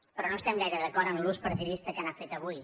però no estem gaire d’acord en l’ús partidista que n’ha fet avui